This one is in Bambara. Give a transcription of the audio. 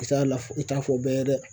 I t'a la i t'a fɔ bɛɛ ye dɛ